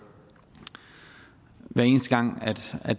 hver eneste gang